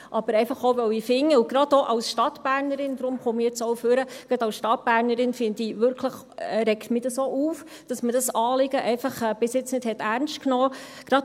Aber gerade auch als Stadtbernerin – und deshalb trete ich ans Rednerpult – regt es mich auf, dass man dieses Anliegen bis jetzt einfach nicht ernst genommen hat.